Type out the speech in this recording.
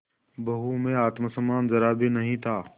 बहू में आत्म सम्मान जरा भी नहीं था